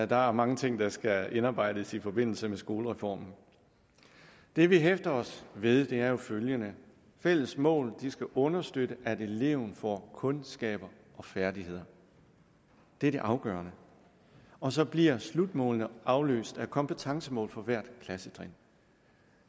der er mange ting der skal indarbejdes i forbindelse med skoleformen det vi hæfter os ved er jo følgende fælles mål skal understøtte at eleven får kundskaber og færdigheder det er det afgørende og så bliver slutmålene afløst af kompetencemål for hvert klassetrin